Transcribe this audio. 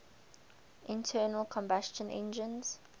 internal combustion engines